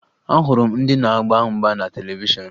Ahụrụ m ndị na-agba mgba na televishọn